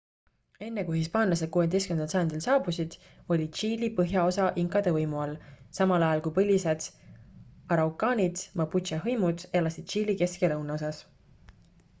enne kui hispaanlased 16. sajandil saabusid oli tšiili põhjaosa inkade võimu all samal ajal kui põlised araukaanid mapuche hõimud elasid tšiili kesk- ja lõunaosas